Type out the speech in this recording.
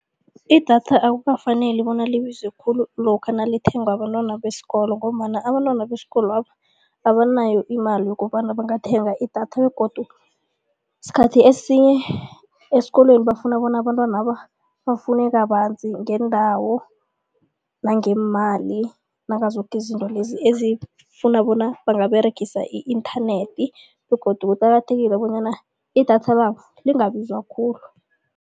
Idatha akukafaneli bona libize khulu lokha nalithengwa bentwana besikolo ngombana abantwana besikolwabo abanayo imali yokobana bangathenga idatha begodu sikhathi esinye esikolweni bafuna bona abantwanaba bafunde kabanzi ngeendawo, nangeemali nangazoke izinto lezi ezifuna bona bangaberigisa i-internet begodu kuqakathekile bonyana idatha labo lingabiza khulu.